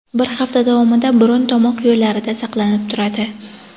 bir hafta davomida burun-tomoq yo‘llarida saqlanib turadi.